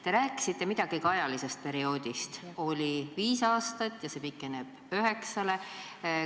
Te rääkisite midagi ka ajaperioodist, et oli viis aastat ja see pikeneb üheksa aastani.